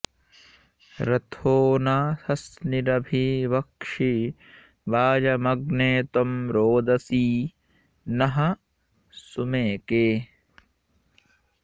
रथो न सस्निरभि वक्षि वाजमग्ने त्वं रोदसी नः सुमेके